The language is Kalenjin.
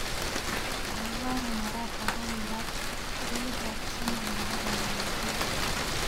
Alvaro Morata ko kirat golit tab somok nebo Real Madrid.